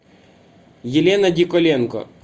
елена диколенко